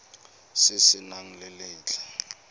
se se nang le letlha